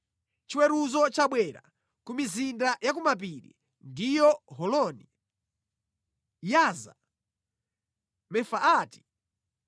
Chiweruzo chabwera ku mizinda ya ku mapiri, ndiyo Holoni, Yaza, Mefaati,